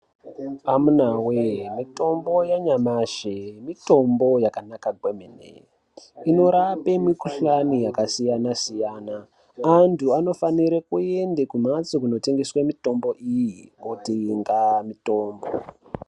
Amunawe mitombo yenamashe mitombo yakanaka kwemene inorape mukuhlwane yakasiyana siyana antu anofanire kuende kumhatso kunotengeswe mitombo iyi kotenga mitombo